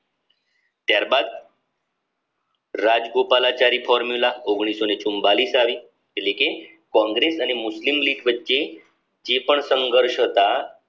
ત્યારબાદ રાજગોપાલાચારી ફોર્મ્યુલા આવી એટલે કે કોંગ્રેસ અને મુસ્લિમ લીગ વચ્ચે જે પણ સંઘર્ષ હતા